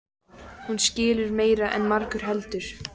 Hún skilur meira en margur heldur.